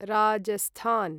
Rajasthan